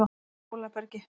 Hólabergi